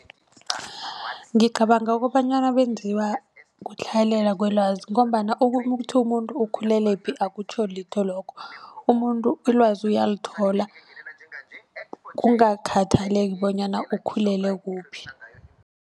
Ngicabanga kobanyana benziwa kutlhayelelwa kwelwazi ngombana ukuthi umuntu ukhulelephi akutjho litho lokho. Umuntu ilwazi uyithola kungakhathaleki bonyana ukhulelephi.